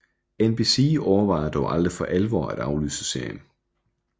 NBC overvejede dog aldrig for alvor at aflyse serien